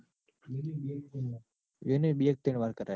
એને બે કે ત્રણ વાર કરાયો.